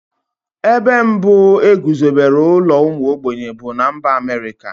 Ebe mbụ e guzobere ụlọ ụmụ ogbenye bụ na mba Amerịka.